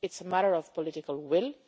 It is a matter of political will.